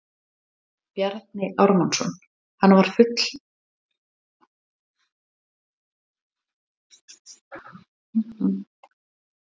Bjarni Ármannsson: Hann var fullur meðvitaður um það?